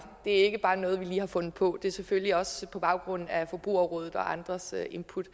det er ikke bare noget vi lige har fundet på og det er selvfølgelig også lavet på baggrund af forbrugerrådets og andres input